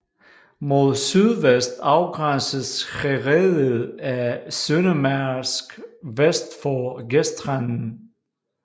Mod sydvest afgrænses herredet af Søndermarsk vest for gestranden